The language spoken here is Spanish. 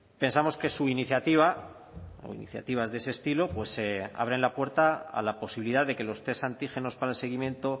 pensamos que su iniciativa o iniciativas de ese estilo pues abren la puerta a la posibilidad de que los test antígenos para el seguimiento